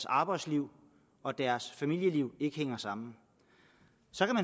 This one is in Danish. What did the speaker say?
arbejdsliv og deres familieliv ikke hænger sammen